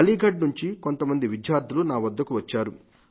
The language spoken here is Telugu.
అలీఘర్ నుండి కొంతమంది విద్యార్థులు నా వద్దకు వచ్చారు